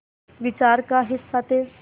विचार का हिस्सा थे